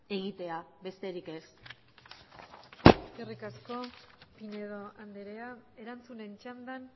egitea besterik ez eskerrik asko pinedo andrea erantzunen txandan